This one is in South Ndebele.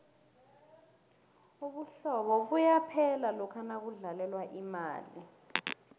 ubuhlobo buyaphela lokha nakudlalelwa imali